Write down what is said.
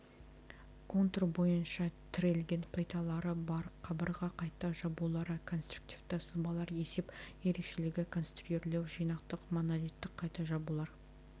контур бойынша тірелген плиталары бар қабырға қайта жабулары конструктивті сызбалар есеп ерекшелігі конструирлеу жинақтық монолиттік қайта жабулар